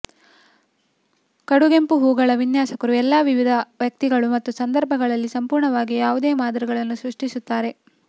ಕಡುಗೆಂಪು ಹೂವುಗಳ ವಿನ್ಯಾಸಕರು ಎಲ್ಲಾ ವಿಧದ ವ್ಯಕ್ತಿಗಳು ಮತ್ತು ಸಂದರ್ಭಗಳಲ್ಲಿ ಸಂಪೂರ್ಣವಾಗಿ ಯಾವುದೇ ಮಾದರಿಗಳನ್ನು ಸೃಷ್ಟಿಸುತ್ತಾರೆ